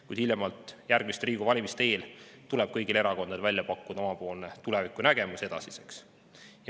Kuid hiljemalt järgmiste Riigikogu valimiste eel tuleb kõigil erakondadel välja pakkuda oma tulevikunägemus edasiseks.